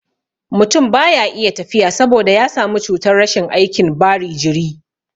Mutun baya iya tafiya saboda ya samu cutar rashin aikin bari jiri